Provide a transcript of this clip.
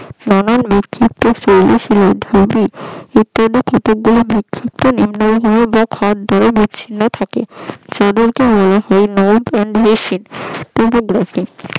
নানা বিক্ষিপ্ত শৈল শিলার ধূলি উৎপন্ন কত গুলি বিক্ষিপ্ত নিম্ন ভূমি বা খাদ ধরে বিচ্ছিন্ন থাকে সেই বলতে হিমবাহ নব এন্ড বেসিন